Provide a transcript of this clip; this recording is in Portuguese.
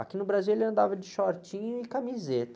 Aqui no Brasil ele andava de shortinho e camiseta.